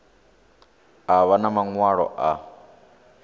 a vha na maṅwalo a